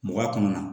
Mɔgɔya kɔnɔna na